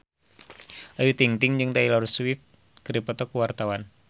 Ayu Ting-ting jeung Taylor Swift keur dipoto ku wartawan